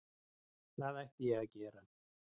Hvað ætti ég að gera?